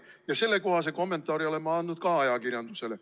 Ja sellekohase kommentaari oleme andnud ka ajakirjandusele.